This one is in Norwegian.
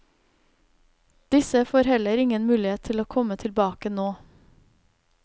Disse får heller ingen mulighet til å komme tilbake nå.